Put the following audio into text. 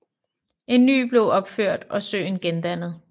En ny blev opført og søen gendannet